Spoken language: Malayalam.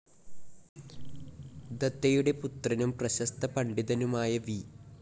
ദത്തയുടെ പുത്രനും പ്രശസ്ത പണ്ഡിതനുമായ വി.